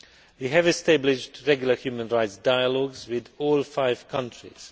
We have established regular human rights dialogues with all five countries.